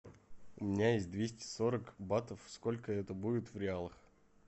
у меня есть двести сорок батов сколько это будет в реалах